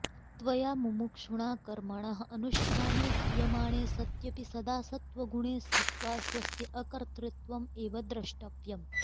त्वया मुमुक्षुणा कर्मणः अनुष्ठाने क्रियमाणे सत्यपि सदा सत्त्वगुणे स्थित्वा स्वस्य अकर्तृत्वम् एव द्रष्टव्यम्